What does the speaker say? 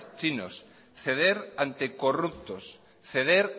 chinos ceder ante corruptos ceder